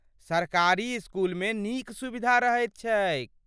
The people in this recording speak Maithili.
सरकारी इसकुलमे नीक सुविधा रहैत छैक।